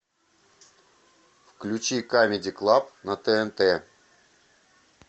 включи камеди клаб на тнт